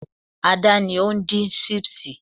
ada ni ondin sipsi